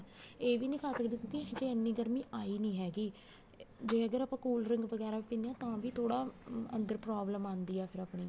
ਇਹ ਵੀ ਨੀ ਖਾ ਸਕਦੇ ਕਿਉਂਕਿ ਇੰਨੀ ਗਰਮੀ ਆਈ ਨੀ ਹੈਗੀ ਜੇ ਆਪਾਂ cold drink ਵਗੈਰਾ ਪੀਨੇ ਹਾਂ ਤਾਂ ਵੀ ਥੋੜਾ ਅੰਦਰ problem ਆਉਂਦੀ ਆ ਫਿਰ ਆਪਣੀ